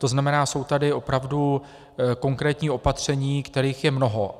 To znamená, jsou tady opravdu konkrétní opatření, kterých je mnoho.